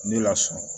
Ne lasunɔgɔ